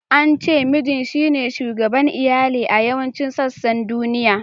An ce Mijin shine shugaban Iyali a yawancin sassan duniya.